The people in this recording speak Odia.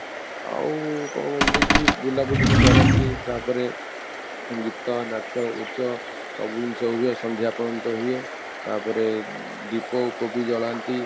ଆଉ କ'ଣ କହନ୍ତିକି ବୁଲାବୁଲି ବି କରନ୍ତି ତାପରେ ଗୀତ, ନାଚ, ଉଚ୍ଚ ସବୁ ଜିନିଷ ହୁଏ ସନ୍ଧ୍ୟା ପର୍ଯ୍ୟନ୍ତ ହୁଏ ତାପରେ ଦୀପ କୁ ବି ଜଳାନ୍ତି ,